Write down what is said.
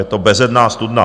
Je to bezedná studna.